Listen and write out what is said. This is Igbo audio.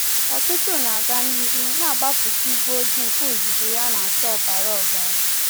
Ọtụtụ na-aga n'ihu, na-agbapụ igwe ojii nke uzuzu ya na-acha ọbara ọbara.